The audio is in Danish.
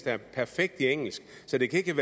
er perfekt til engelsk så det kan ikke